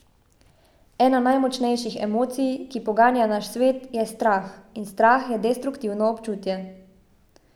Ena najmočnejših emocij, ki poganja naš svet, je strah, in strah je destruktivno občutje.